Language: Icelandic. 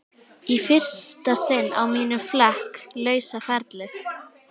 Í fyrsta sinn á mínum flekk lausa ferli.